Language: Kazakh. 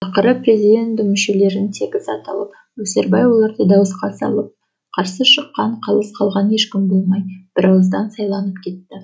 ақыры президиум мүшелері тегіс аталып өсербай оларды дауысқа салып қарсы шыққан қалыс қалған ешкім болмай бір ауыздан сайланып кетті